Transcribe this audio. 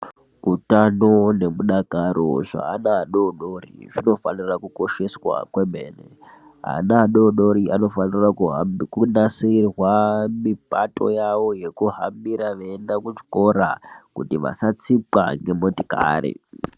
Utano nemudakaro zveana adodori ,zvinofanira kukosheswa kwemene. Ana adodori anofanira kuhambi kunasirwa mipato yavo yekuhambira kuti vasatsikwa ngemotikari.